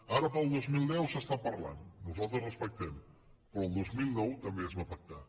ara per al dos mil deu s’està parlant nosaltres ho respectem però el dos mil nou també es va pactar